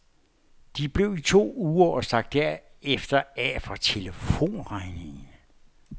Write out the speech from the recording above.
De blev i to uger og stak derefter af fra telefonregningen.